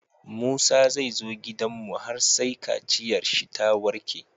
Musa zai zo gidanmu har sai kaciyar shi ta warke